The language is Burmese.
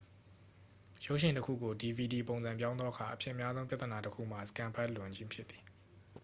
ရုပ်ရှင်တစ်ခုကို dvd ပုံစံပြောင်းသောအခါ အဖြစ်များဆုံးပြဿနာတစ်ခုမှာ စကင်န်ဖတ်လွန်ခြင်းဖြစ်သည်